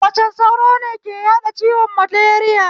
Macen sauro ne ke yaɗa ciwon maleriya